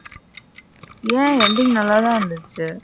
ஏன் ending நல்லதா இருந்தச்சு.